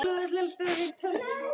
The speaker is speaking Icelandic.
það gæti hafa verið ég